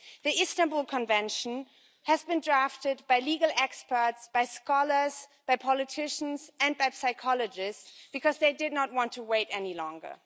The Istanbul Convention has been drafted by legal experts, scholars, politicians and psychologists because they did not want to wait any longer.